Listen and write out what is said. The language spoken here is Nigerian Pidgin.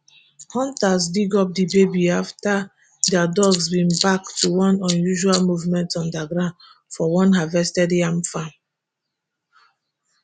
hunters dig up di baby afta dia dogs begin bark to one unusual movement underground for one harvested yam farm